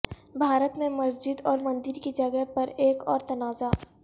بھارت میں مسجد اور مندر کی جگہ پر ایک اور تنازع